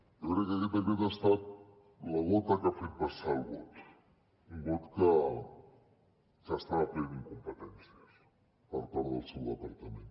jo crec que aquest decret ha estat la gota que ha fet vessar el got un got que estava ple d’incompetències per part del seu departament